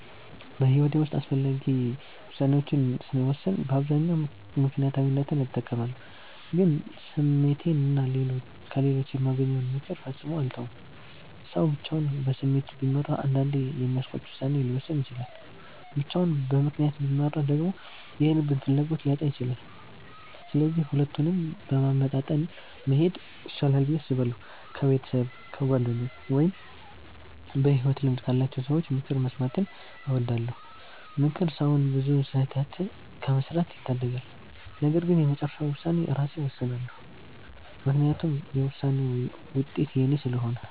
በሕይወቴ ውስጥ አስፈላጊ ውሳኔዎችን ስወስን በአብዛኛው ምክንያታዊነትን እጠቀማለሁ፣ ግን ስሜቴንና ከሌሎች የማገኘውን ምክር ፈጽሞ አልተውም። ሰው ብቻውን በስሜት ቢመራ አንዳንዴ የሚያስቆጭ ውሳኔ ሊወስን ይችላል፤ ብቻውን በምክንያት ቢመራ ደግሞ የልብን ፍላጎት ሊያጣ ይችላል። ስለዚህ ሁለቱንም በማመጣጠን መሄድ ይሻላል ብዬ አስባለሁ። ከቤተሰብ፣ ከጓደኞች ወይም በሕይወት ልምድ ካላቸው ሰዎች ምክር መስማትን እወዳለሁ። ምክር ሰውን ብዙ ስህተት ከመስራት ይታደጋል። ነገር ግን የመጨረሻውን ውሳኔ ራሴ እወስናለሁ፤ ምክንያቱም የውሳኔውን ውጤት የኔ ስለሆነ።